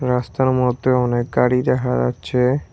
রাস্তার মধ্যে অনেক গাড়ি দেহা যাচ্ছে।